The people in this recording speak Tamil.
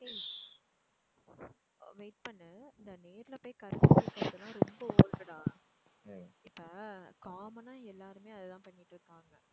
wait பண்ணு இந்த நேர்ல போயி கருத்து கேக்குறது எல்லாம் ரொம்ப old டா. இப்போ common ஆ எல்லாருமே அதை தான் பண்ணிட்டு இருக்காங்க.